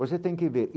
Você tem que ver.